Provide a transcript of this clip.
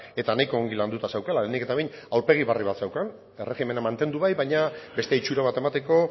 eta nahiko ongi landuta zeukala lehenik eta behin aurpegi berri bat zeukan erregimena mantendu bai baina beste itxura bat emateko